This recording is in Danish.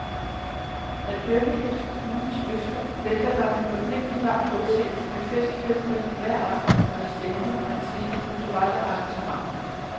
At dømme efter kommunens løfter venter der en ualmindelig varm modtagelse med festfyrværkeri hver aften under stævnet og en stribe kulturelle arrangementer.